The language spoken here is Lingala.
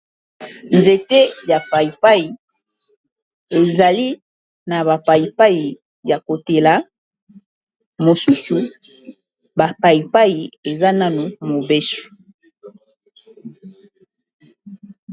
Nzete ya paypay ezali na ba paypay ya kotela mosusu ba paypay eza nanu mobesu.